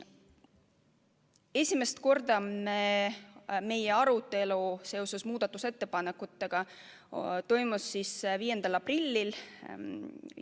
Esimest korda arutasime muudatusettepanekuid 5. aprillil.